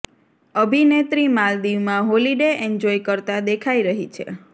અભિનેત્રી માલદીવમાં holiday enjoy કરતા દેખાઈ રહી છે